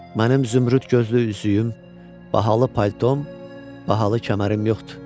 Mənim zümrüd gözlü üzüyüm, bahalı paltom, bahalı kəmərim yoxdur.